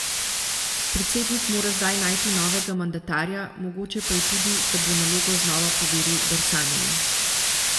Predsednik mora zdaj najti novega mandatarja, mogoče pa je tudi, da bo nalogo znova poveril Bersaniju.